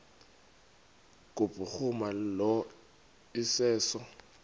kubhuruma lo iseso